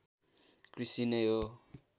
कृषि नै हो